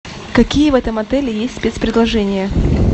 какие в этом отеле есть спецпредложения